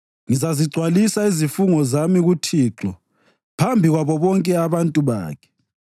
Ngizazigcwalisa izifungo zami kuThixo phambi kwabo bonke abantu bakhe.